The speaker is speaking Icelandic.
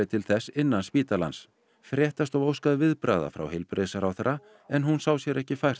til þess innan spítalans fréttastofa óskaði viðbragða frá heilbrigðisráðherra en hún sá sér ekki fært